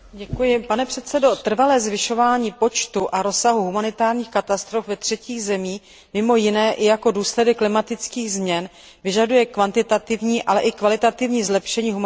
Trvalé zvyšování počtu a rozsahu humanitárních katastrof ve třetích zemích, které je mimo jiné i důsledkem klimatických změn, vyžaduje kvantitativní, ale i kvalitativní zlepšení humanitární pomoci.